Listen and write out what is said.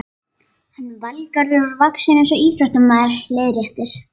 Hann Valgarður er vaxinn eins og íþróttamaður, leiðréttir